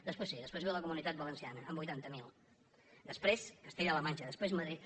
després sí després ve la comunitat valenciana amb vuitanta miler després castella · la manxa després madrid